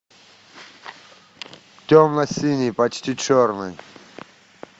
темно синий почти черный